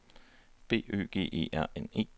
B Ø G E R N E